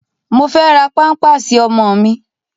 Mo fe ra pampasi ọmọ mi